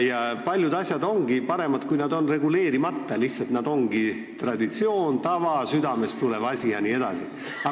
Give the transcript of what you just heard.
Ja paljude asjadega ongi paremini, kui nad on reguleerimata – nad ongi lihtsalt traditsioonid, tavad, südamest tulevad asjad jne.